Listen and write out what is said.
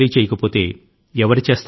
మీరు కాకపోతే ఎవరు దీని ని చేస్తారు